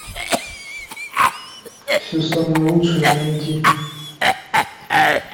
все самое лучшее найти